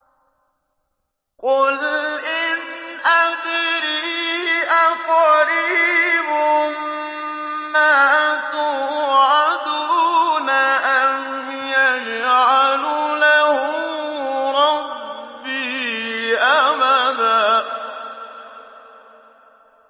قُلْ إِنْ أَدْرِي أَقَرِيبٌ مَّا تُوعَدُونَ أَمْ يَجْعَلُ لَهُ رَبِّي أَمَدًا